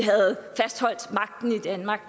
danmark